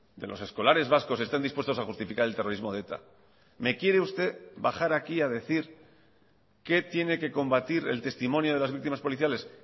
de los escolares vascos estén dispuestos a justificar el terrorismo de eta me quiere usted bajar aquí a decir qué tiene que combatir el testimonio de las víctimas policiales